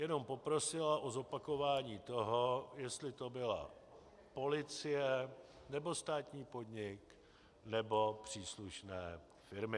Jenom poprosila o zopakování toho, jestli to byla policie, nebo státní podnik, nebo příslušné firmy.